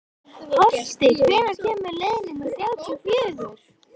Holti, hvenær kemur leið númer þrjátíu og fjögur?